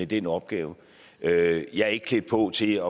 den opgave jeg er ikke klædt på til